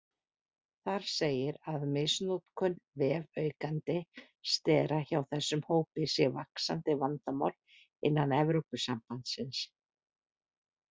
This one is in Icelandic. Þar segir að misnotkun vefaukandi stera hjá þessum hópi sé vaxandi vandamál innan Evrópusambandsins.